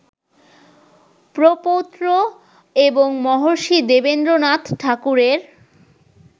প্রপৌত্র এবং মহর্ষি দেবেন্দ্রনাথ ঠাকুরের